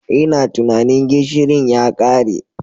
Ina tunanin gishirin ya kare.